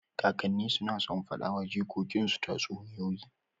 Kakanni suna son faɗa wa jikokin su tatsuniyoyi.